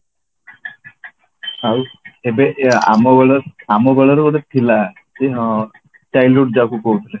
ଆଉ ଏବେ ଏ ଆମ ବେଳର ଆମ ବେଳର ଗୋଟେ ଥିଲା କି ହଁ childhood ଯାହାକୁ କହୁଥିଲେ